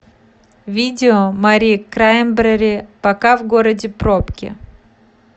видео мари краймбрери пока в городе пробки